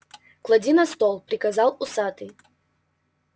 клади на стол приказал усатый